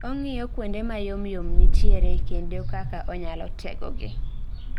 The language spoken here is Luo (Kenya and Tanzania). Ong'iyo kuonde mayomyom nitiere kendo kaka onyalo tego gi